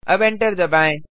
अब एंटर दबाएँ